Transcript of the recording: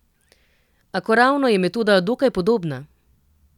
Akoravno je metoda dokaj podobna.